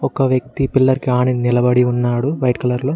ఒక వ్యక్తి పిలర్ ఆని నిలబడి ఉన్నాడు వైట్ కలర్ లో.